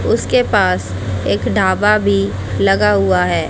उसके पास एक ढाबा भी लगा हुआ है।